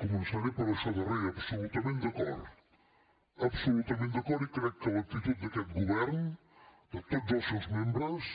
començaré per això darrer absolutament d’acord absolutament d’acord i crec que l’actitud d’aquest govern de tots els seus membres